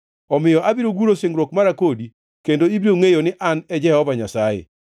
Omiyo abiro guro singruok mara kodi, kendo ibiro ngʼeyo ni An e Jehova Nyasaye.